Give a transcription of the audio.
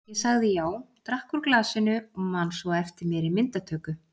Ég sagði já, drakk úr glasinu og man svo eftir mér í myndatöku.